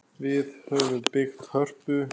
Við höfum byggt Hörpu.